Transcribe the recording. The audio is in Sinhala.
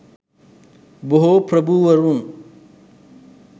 බොහෝ ප්‍රභූවරුන්